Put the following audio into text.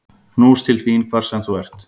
Knús til þín hvar sem þú ert.